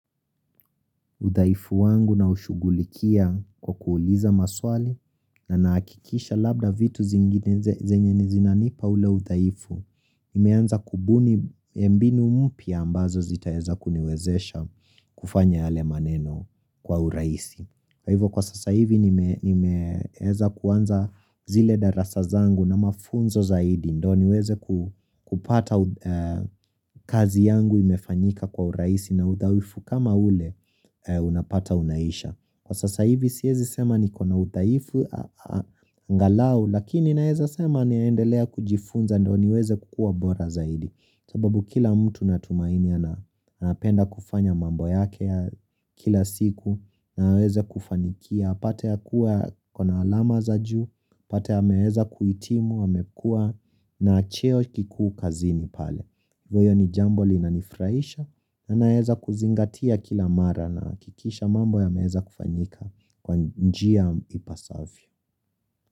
Udhaifu wangu naushughulikia kwa kuuliza maswali na nahakikisha labda vitu zingine zenye zinanipa ule udhaifu, nimeanza kubuni mbinu mpya ambazo zitaweza kuniwezesha kufanya yale maneno kwa urahisi. Kwa hivo kwa sasa hivi nimeweza kuanza zile darasa zangu na mafunzo zaidi ndo niweze kupata kazi yangu imefanyika kwa urahisi na udhaifu kama ule unapata unaisha. Kwa sasa hivi siwezi sema niko na udhaifu angalau, lakini naweza sema naendelea kujifunza ndo niweze kuwa bora zaidi. Sababu kila mtu natumaini anapenda kufanya mambo yake ya kila siku na aweze kufanikia. Apate ya kuwa ako na alama za juu, apate ameweza kuhitimu, amekua na cheo kikuu kazini pale. Hiyo ni jambo linanifuraisha na naweza kuzingatia kila mara nahakikisha mambo ya meza kufanyika kwa njia ipasavyo.